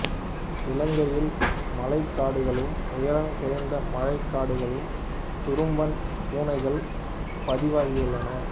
இலங்கையில் மலைக்காடுகளிலும் உயரம் குறைந்த மழைக்காடுகளிலும் துரும்பன் பூனைகள் பதிவாகியுள்ளன